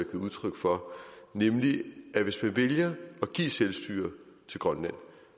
udtryk for nemlig at hvis man vælger at give selvstyre til grønland